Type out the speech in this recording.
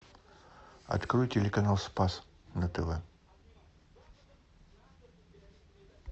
открой телеканал спас на тв